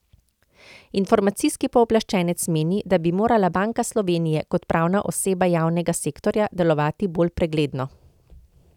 Informacijski pooblaščenec meni, da bi morala Banka Slovenije kot pravna oseba javnega sektorja delovati bolj pregledno.